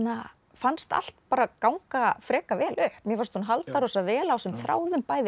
fannst allt bara ganga frekar vel upp mér fannst hún halda rosalega vel á þessum þráðum bæði